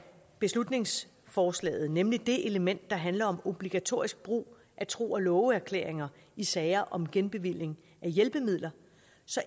beslutningsforslaget nemlig det element der handler om obligatorisk brug af tro og love erklæringer i sager om genbevilling af hjælpemidler